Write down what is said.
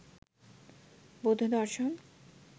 বৌদ্ধ দর্শন